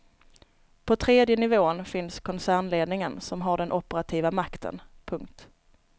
På tredje nivån finns koncernledningen som har den operativa makten. punkt